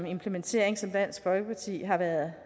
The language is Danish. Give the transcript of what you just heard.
implementering som dansk folkeparti har været